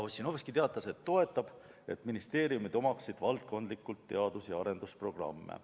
Ossinovski teatas, et toetab ministeeriumide valdkondlikke teadus- ja arendusprogramme.